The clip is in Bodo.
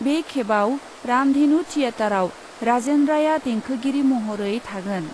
बे खेबाव रामधेनु थियेटराव राजेन रायआ देंखोगिरि महरै थागोन ।